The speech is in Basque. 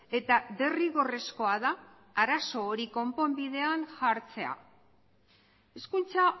eta derrigorrezkoa da arazo hori konponbidean jartzea hezkuntza